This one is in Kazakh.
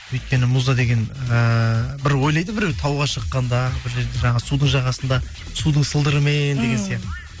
өйткені муза деген ыыы бір ойлайды біреу тауға шыққанда бір жерде жаңағы судың жағасында судың сылдырымен деген сияқты